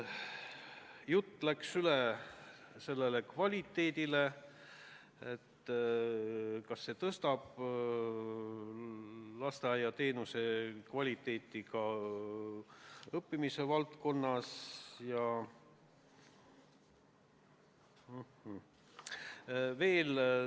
Jutt läks ka kvaliteedile: kas muudatus võiks tõsta lasteaiateenuse kvaliteeti õpetamise seisukohalt.